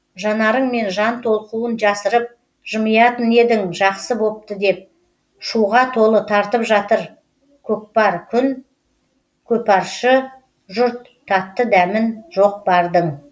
жанарыңмен жан толқуын жасырып жымиятын едің жақсы бопты деп шуға толы тартып жатыр көкпар күн көпаршы жұрт татты дәмін жоқ бардың